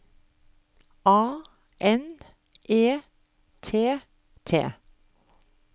A N E T T